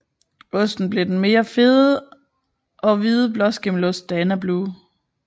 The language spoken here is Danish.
Osten blev den mere fede og hvide blåskimmelost Danablu